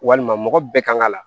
Walima mɔgɔ bɛɛ kan ka la